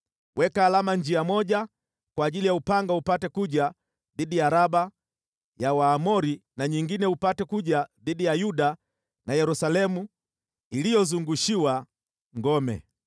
Weka alama njia moja kwa ajili ya upanga upate kuja dhidi ya Raba ya Waamoni na nyingine upate kuja dhidi ya Yuda na Yerusalemu iliyozungushiwa ngome.